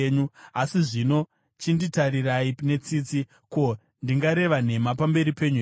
“Asi zvino chinditarirai netsitsi. Ko, ndingareva nhema pamberi penyu here?